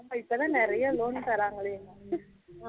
ஆமா இப்போ தான் நிறைய loan தராங்களேன்